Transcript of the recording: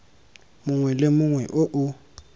mongwe le mongwe o o